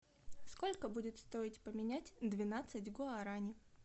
сколько будет стоить поменять двенадцать гуарани